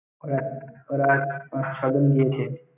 ওঁরা~ ওঁরা~ ওঁরা ছয়জন গিয়েছে?